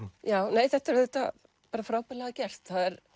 nei þetta er auðvitað bara frábærlega gert